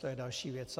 To je další věc.